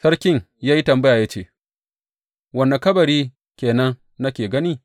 Sarkin ya yi tambaya, ya ce, Wane kabari ke nan nake gani?